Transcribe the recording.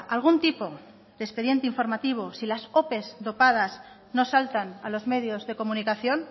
algún tipo de expediente informativo si las ope dopadas no saltan a los medios de comunicación